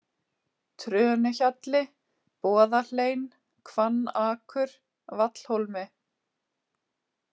Trönuhjalli, Boðahlein, Hvannakur, Vallhólmi